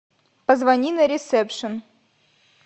позвони на ресепшен